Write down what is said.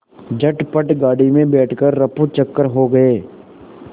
झटपट गाड़ी में बैठ कर ऱफूचक्कर हो गए